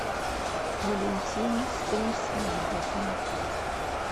валентины станиславовны